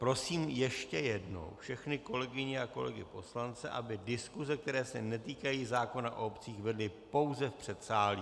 Prosím ještě jednou všechny kolegyně a kolegy poslance, aby diskuse, které se netýkají zákona o obcích, vedli pouze v předsálí.